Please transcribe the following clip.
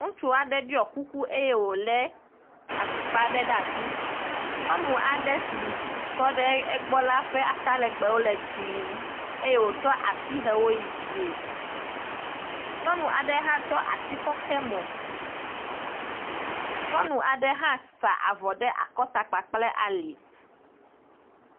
Ŋutsu aɖe ɖɔe kuku eye wole atukpa aɖe ɖe asi. Nyɔnu aɖe si tɔ ɖe egbɔ la ƒe ata legbe wo le dzɛe, eye wotsɔ asi hɛ wo yi dzie. Nyɔnu aɖe hã tsɔ asi kɔ xe mo. Nyɔnu aɖe hã sa avɔ ɖe akɔta kple ali.